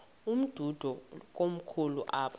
umdudo komkhulu apha